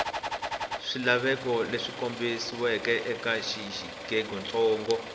swilaveko leswi kombetiweke eka xiyengentsongo